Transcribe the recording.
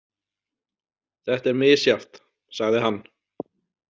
Þetta er misjafnt, sagði hann.